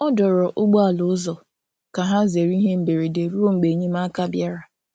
Ọ dòrò̀ ụgbọ̀ala ụzọ ka hà zerè ihe mberede ruo mgbe enyemáka bịara.